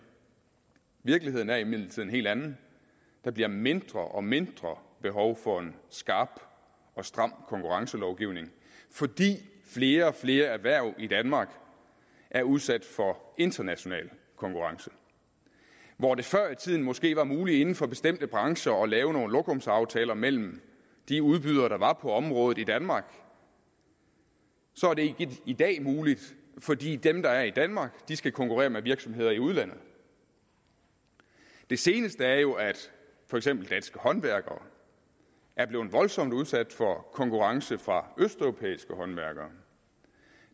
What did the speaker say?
virkeligheden er imidlertid en helt anden der bliver mindre og mindre behov for en skarp og stram konkurrencelovgivning fordi flere og flere erhverv i danmark er udsat for international konkurrence hvor det før i tiden måske var muligt inden for bestemte brancher at lave nogle lokumsaftaler mellem de udbydere der var på området i danmark så er det ikke i dag muligt fordi dem der er i danmark skal konkurrere med virksomheder i udlandet det seneste er jo at for eksempel danske håndværkere er blevet voldsomt udsat for konkurrence fra østeuropæiske håndværkere